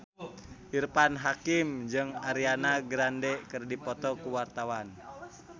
Irfan Hakim jeung Ariana Grande keur dipoto ku wartawan